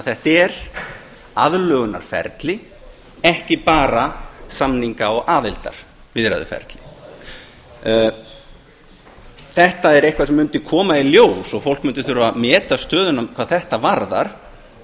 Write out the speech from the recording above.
þetta er því aðlögunarferli ekki bara samninga og aðildarviðræðuferli þetta er eitthvað sem mundi koma í ljós og fólk mundi þurfa að meta stöðuna hvað þetta varðar